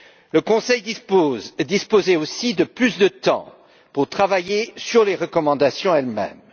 Le Conseil disposait aussi de plus de temps pour travailler sur les recommandations elles mêmes.